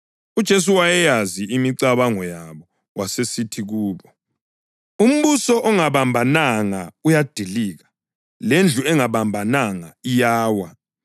UJesu wayeyazi imicabango yabo wasesithi kubo: “Umbuso ongabambananga uyadilika, lendlu engabambananga iyawa.